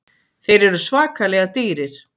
Þeir eru svakalega dýrir.